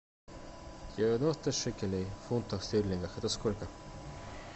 девяносто шекелей в фунтах стерлингов это сколько